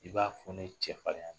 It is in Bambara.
I b'a fɔ ne cɛfarinya de ye.